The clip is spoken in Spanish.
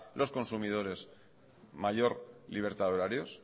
los consumidores mayor libertad de horarios